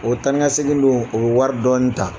O taa ni ka segin dun o bɛ wari dɔ ta.